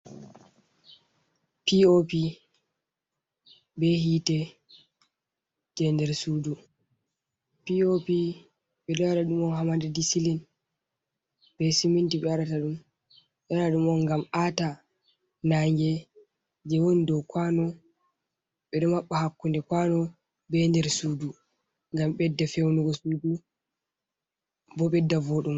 Pop be hiite jei nder suudu, pop ɓe ɗo waɗa ɗum ha madadi silin, be siminti be waɗata ɗum on ngam aata nange jei woni dou kwaano ɗo maɓɓa hakkunde kwaano be nder sudu ngam ɓedda fewnugo suudu bo ɓedda voɗungo.